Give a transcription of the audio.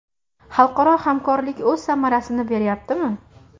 Xalqaro hamkorlik o‘z samarasini berayaptimi?